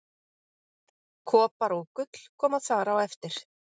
Kopar og gull koma þar á eftir.